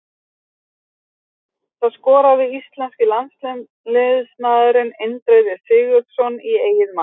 Það skoraði íslenski landsliðsmaðurinn Indriði Sigurðsson í eigið mark.